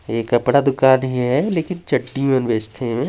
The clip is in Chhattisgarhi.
ए कपड़ा दुकान हेवय लेकिन चड्डी भर बेचथे इहाँ--